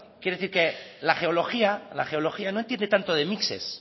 quiero decir que la geología no entiende tanto de mixes